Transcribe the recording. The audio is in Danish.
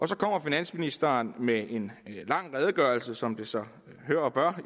så kommer finansministeren med en lang redegørelse som det sig hør og bør